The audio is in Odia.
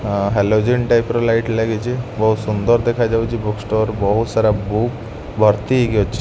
ଆ ହେଲୋଜିନ ଟାଇପ ର ଲାଇଟ ଲାଗିଛି। ବହୁତ ସୁନ୍ଦର ଦେଖାଯାଉଛି ବୁକ୍ ଷ୍ଟୋର ବହୁତ ସାରା ବୁକ୍ ଭର୍ତ୍ତି ହେଇକି ଅ --